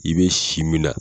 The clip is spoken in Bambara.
I bɛ si min na